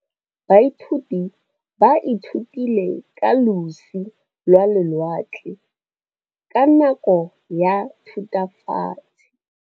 Baithuti ba ithutile ka losi lwa lewatle ka nako ya Thutafatshe.